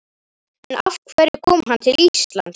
En af hverju kom hann til Íslands?